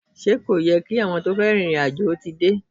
Ṣé kò yẹ kí àwọn tí wọ́n fẹ́ rin ìrìn àjò ti dé?